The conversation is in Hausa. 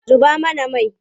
Zuba mana mai!